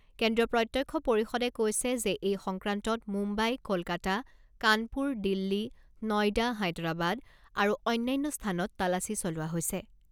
কেন্দ্ৰীয় প্ৰত্যক্ষ পৰিষদে কৈছে যে এই সংক্ৰান্তত মুম্বাই, কলকাতা, কাণপুৰ, দিল্লী, নয়ডা, হায়দৰাবাদ আৰু অন্যান্য স্থানত তালাচী চলোৱা হৈছে।